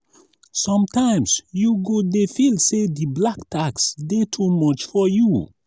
sometimes you go dey feel say di black tax dey too much for you.